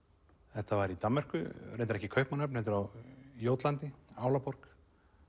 þetta var í Danmörku reyndar ekki Kaupmannahöfn heldur á Jótlandi Álaborg